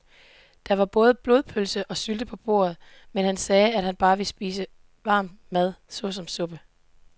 Der var både blodpølse og sylte på bordet, men han sagde, at han bare ville spise varm mad såsom suppe.